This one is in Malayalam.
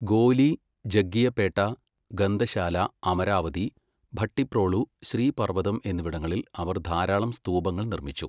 ഗോലി, ജഗ്ഗിയപേട്ട, ഗന്തശാല, അമരാവതി ഭട്ടിപ്രോളു, ശ്രീ പർവ്വതം എന്നിവിടങ്ങളിൽ അവർ ധാരാളം സ്തൂപങ്ങൾ നിർമ്മിച്ചു.